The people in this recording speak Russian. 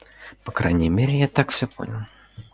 по крайней мере я так всё понял